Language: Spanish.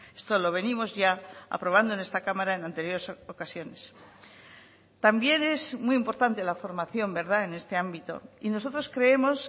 esto lo venimos ya aprobando en esta cámara en anteriores ocasiones también es muy importante la formación en este ámbito y nosotros creemos